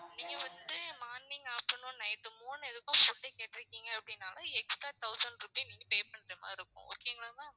நீங்க வந்துட்டு morning, afternoon, night மூணு இதுக்கும் food கேட்டிருக்கீங்க அப்படின்னா extra thousand rupee நீங்க pay பண்றது மாதிரி இருக்கும் okay ங்களா ma'am